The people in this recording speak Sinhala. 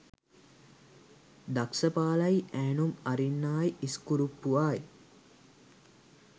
දක්සපාලයි ඈනුම් අරින්නායි ඉස්කුරුප්පුවායි